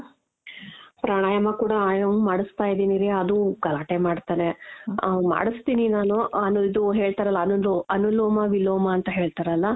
ಪ್ರಾಣಾಯಾಮ ಕೂಡ ಆಯಾಮ ಮಾಡಿಸ್ತಾ ಇದೀನಿ ರೀ ಅದೂ ಗಲಾಟೆ ಮಾಡ್ತಾನೆ ಆ ಮಾಡುಸ್ತೀನಿ ನಾನು ಅನು ಇದು ಹೇಳ್ತಾರಲ್ಲ ಅನುಲೋಮ ವಿಲೋಮ ಅಂತ ಹೇಳ್ತಾರಲ್ಲ .